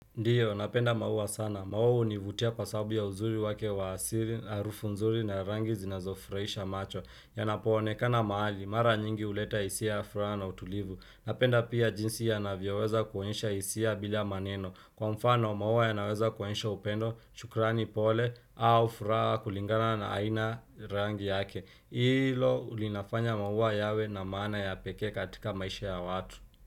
Ndiyo, napenda maua sana. Maua hunivutia kwa sababu ya uzuri wake wa asili, harufu nzuri na rangi zinazofraisha macho. Yanapoonekana mahali, mara nyingi huleta hisia ya furaha na utulivu. Napenda pia jinsi yanavyoweza kuonyesha hisia bila maneno. Kwa mfano, maua ya naweza kuonyesha upendo, shukrani pole, au furaha kulingana na aina rangi yake. Ilo linafanya maua yawe na maana ya pekee katika maisha ya watu.